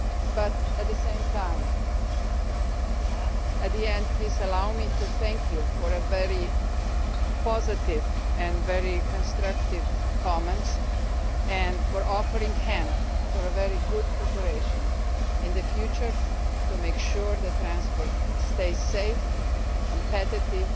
But at the same time, please allow me to thank you for your very positive and very constructive comments and for offering to help with very good cooperation in the future, to make sure that transport stays safe and competitive